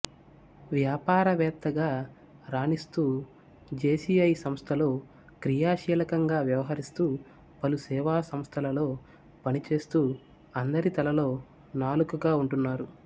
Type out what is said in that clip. వ్యాపార వేత్తగా రాణిస్తూజేసీఐ సంస్థలో క్రియాశీలకంగా వ్యవహరిస్తూ పలు సేవా సంస్థలలో పనిచేస్తూ అందరి తలలో నాలుకగా వుంటున్నారు